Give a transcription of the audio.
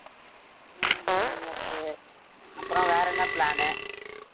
உம் okay அப்புறம் வேற என்ன plan உ